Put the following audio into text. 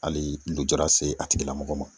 Hali lujura se a tigilamɔgɔ ma.